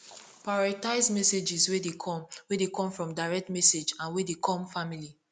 prioritize messages wey de come wey de come from direct message and wey dey come family